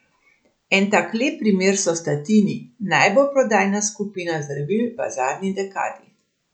En tak lep primer so statini, najbolje prodajana skupina zdravil v zadnji dekadi.